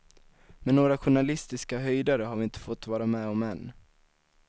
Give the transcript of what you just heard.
Men några journalistiska höjdare har vi inte fått vara med om än.